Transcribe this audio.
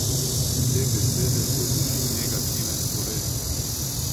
Te besede se drži negativen sloves.